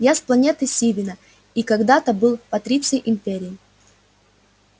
я с планеты сивенна и когда-то был патриций империи